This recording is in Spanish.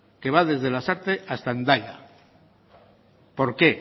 que va desde lasarte hasta hendaya por qué